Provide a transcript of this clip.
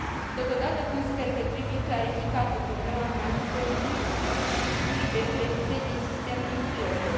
Totodată, consider că trebuie clarificată problema transferului surplusului de credite din sistemul Kyoto.